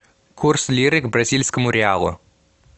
курс лиры к бразильскому реалу